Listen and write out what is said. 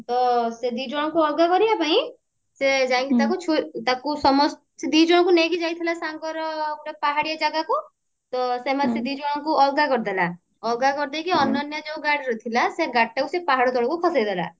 ତ ସେ ଦି ଜଣକୁ ଅଲଗା କରିବା ପାଇଁ ସେ ଯାଇକି ତାକୁ ଛୁରୀ ତାକୁ ସମସ୍ତକୁ ସେ ଦିଅ ଜଣକୁ ନେଇକି ଯାଇଥିଲା ସାଙ୍ଗରେ ଗୋଟେ ପାହାଡିଆ ଜାଗାକୁ ତ ସେମାନେ ସେ ଦି ଜଣକୁ ଅଲଗା କରିଦେଲା ଅଲଗା କରିଦେଇକି ଅନନ୍ୟା ଯୋଉ ଗାଡିରେ ଥିଲା ସେଇ ଗାଡି ତାକୁ ସେ ପାହାଡ ତଳକୁ ଖସେଇ ଦେଲା